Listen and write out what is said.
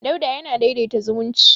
Dauda yana daidaita zumunci.